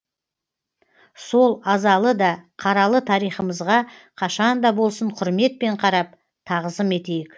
сол азалы да қаралы тарихымызға қашанда болсын құрметпен қарап тағзым етейік